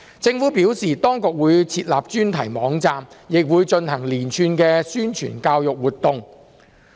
政府表示，當局會設立專題網站，亦會進行連串的宣傳教育活動。